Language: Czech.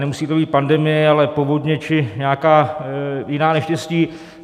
Nemusí to být pandemie, ale povodně či nějaká jiná neštěstí.